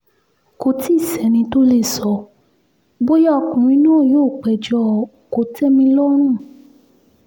kò tí ì sẹ́ni tó lè sọ bóyá ọkùnrin náà yóò péjọ kò-tẹ́-mi-lọ́rùn